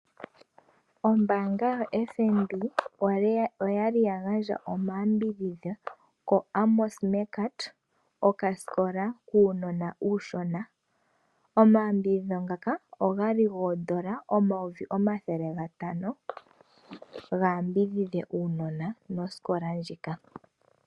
Ombaanga yo FNB oya li ya gandja omayambidhidho ko Amos Meerkat okasikola kuunona uushona Omayambidhidho ngaka ogali iimaliwa yoodola dhaNamibia omayovi omathele gatano ga yambidhidhe osikola.